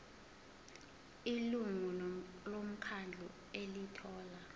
ilungu lomkhandlu elithola